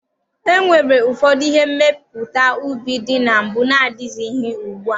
E nwere ụfọdụ ihe mmepụta ubi dị na mbụ na-adịghịzi ugbua.